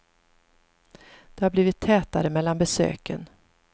Det har blivit tätare mellan besöken.